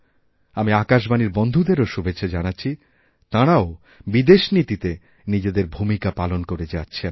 আমি আকাশবাণীর বন্ধুদেরও শুভেচ্ছা জানাচ্ছি তাঁরাওবিদেশ নীতিতে নিজেদের ভূমিকা পালন করে যাচ্ছেন